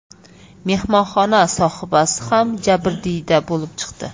Mehmonxona sohibasi ham jabrdiyda bo‘lib chiqdi.